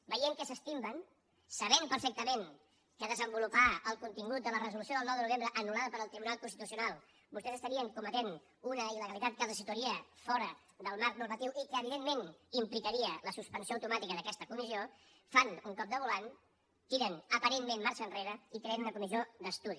veient que s’estimben sabent perfectament que desenvolupar el contingut de la resolució del nou de novembre anul·lada pel tribunal constitucional vostès estarien cometent una il·legalitat que els situaria fora del marc normatiu i que evidentment implicaria la suspensió automàtica d’aquesta comissió fan un cop de volant tiren aparentment marxa enrere i creen una comissió d’estudi